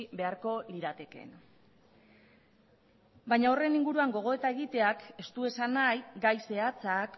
beharko liratekeen baina horren inguruan gogoeta egiteak ez du esan nahi gai zehatzak